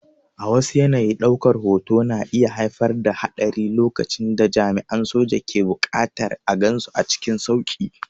A wasu yanayi, ɗaukar hoto na iya haifar da haɗari lokacin da jami'an soja ke buƙatar a gansu cikin sauƙi.